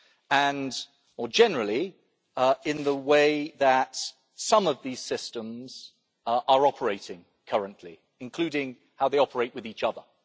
and, more generally, in the way that some of these systems are operating currently, including how they operate with each other.